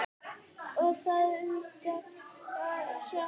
Og það undra hratt.